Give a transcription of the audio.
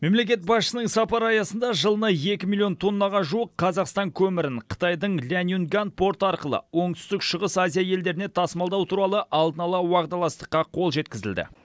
мемлекет басшысының сапары аясында жылына екі миллион тоннаға жуық қазақстан көмірін қытайдың ляньюнгань порты арқылы оңтүстік шығыс азия елдеріне тасымалдау туралы алдын ала уағдаластыққа қол жеткізілді